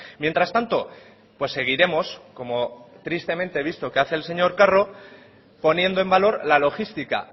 mientras tanto seguiremos como tristemente he visto que hace el señor carro poniendo en valor la logística